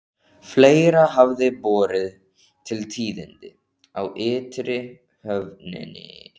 Fleira hafði borið til tíðinda á ytri höfninni.